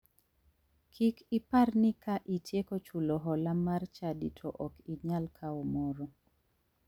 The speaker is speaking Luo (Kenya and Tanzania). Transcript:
Kik ipar ni ka itieko chulo hola mar chadi to ok inyal kawo moro.